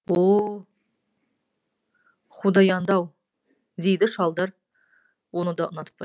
о худауандау дейді шалдар оны да ұнатпай